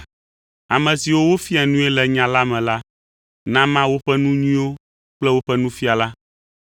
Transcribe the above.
Ame siwo wofia nui le nya la me la, nama woƒe nu nyuiwo kple woƒe nufiala.